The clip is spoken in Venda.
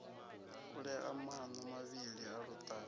kulea maṋo mavhili a luṱaha